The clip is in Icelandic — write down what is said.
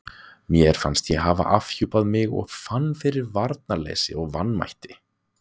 Mér fannst ég hafa afhjúpað mig og fann fyrir varnarleysi og vanmætti.